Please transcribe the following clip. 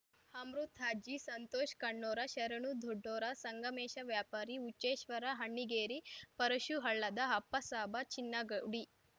Amrit Ajji Santosh Konnura Sharanu Doddura Sangamesha Vyapari Huchheshwara Annigeri Parashu Hallada Appasaba Chinnagudi